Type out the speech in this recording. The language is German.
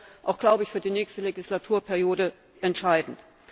Das wäre auch, glaube ich, für die nächste Legislaturperiode entscheidend.